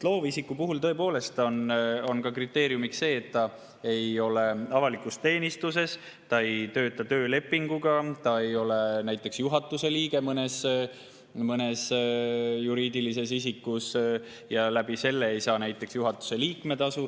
Loovisiku puhul on tõepoolest kriteeriumiks see, et ta ei ole avalikus teenistuses, ei tööta töölepinguga, ei ole näiteks juhatuse liige mõnes juriidilises isikus ega saa näiteks juhatuse liikme tasu.